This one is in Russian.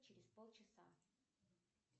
через полчаса